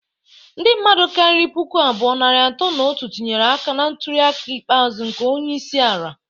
Ndi mmadu kariri puku abụọ, narị atọ na otu tinyere aka na ntuli aka ikpeazu nke onye isi ala.